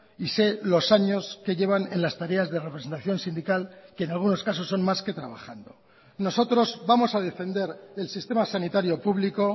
y sé los años que llevan en las tareas de representación sindical que en algunos casos son más que trabajando nosotros vamos a defender el sistema sanitario público